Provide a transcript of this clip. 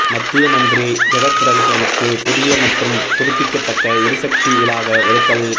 மத்திய மந்திரி ஜெகத்ரட்சகனுக்கு புதிய மற்றும் புதுப்பிக்கத்தக்க எரிசக்தி இலாகா ஒதுக்கல்